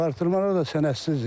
Artırmalar da sənədsizdir.